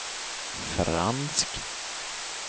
fransk